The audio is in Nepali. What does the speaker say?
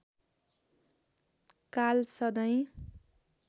काल सधैँ